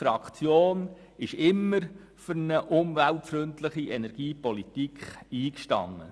Unsere Fraktion ist immer für eine umweltfreundliche Energiepolitik eingestanden.